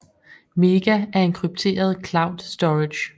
MEGA er en krypteret cloud storage